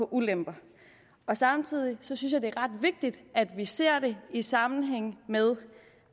ulemper samtidig synes jeg at det er ret vigtigt at vi ser det i sammenhæng med